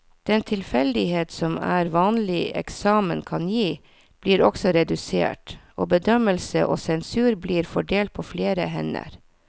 Den tilfeldighet som en vanlig eksamen kan gi, blir også redusert, og bedømmelse og sensur blir fordelt på flere hender.